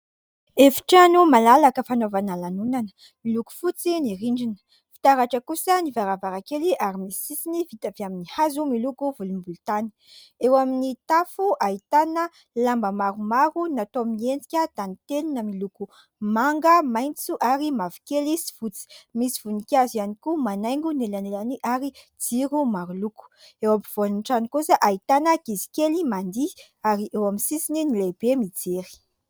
Efi-trano malalaka fanaovana lanonana, miloko fotsy ny rindrina, fitaratra kosa ny varavarankely ary misy sisiny vita avy amin'ny hazo miloko volombolontany. Eo amin'ny tafo ahitana lamba maromaro natao miendrika tantely na miloko manga, maitso ary mavokely sy fotsy. Misy voninkazo ihany koa manaingo ny elanelany ary jiro maro loko. Eo ampovoan'ny trano kosa ahitana ankizy kely mandihy ary eo amin'ny sisiny ny lehibe mijery.